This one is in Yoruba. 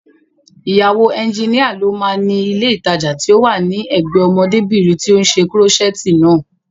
Ìyàwó ẹnjínìa ló máa ni ilé ìtajà tí ó wà ní ẹ̀gbẹ́ẹ ọmọdébìnrin tí ó ṣe kúrọ́ṣẹ̀ẹ̀tì naa